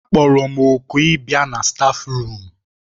Akpọrọ m òkù ịbịa na stáfruum.